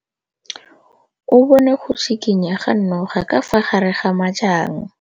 O bone go tshikinya ga noga ka fa gare ga majang.